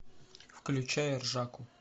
включай ржаку